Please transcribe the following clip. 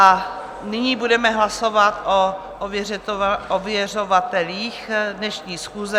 A nyní budeme hlasovat o ověřovatelích dnešní schůze.